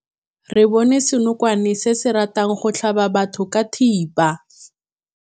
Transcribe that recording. Re bone senokwane se se ratang go tlhaba batho ka thipa.